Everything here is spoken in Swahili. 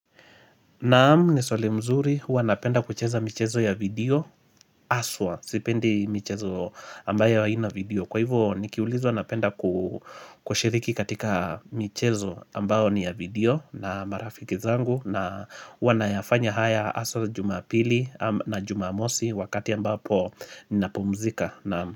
Naam ni swali mzuri, huwa napenda kucheza michezo ya video aswa, sipendi michezo ambayo haina video Kwa hivyo nikiulizwa napenda kushiriki katika michezo ambayo ni ya video na marafiki zangu na huwa na yafanya haya aswa jumapili na jumamosi wakati ambapo nina pumzika.